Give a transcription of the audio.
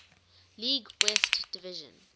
league west division